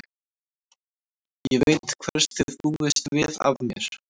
Ég veit hvers þið búist við af mér.